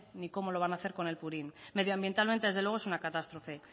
ni cómo lo van a hacer con el purín medioambientalmente desde luego es una catástrofe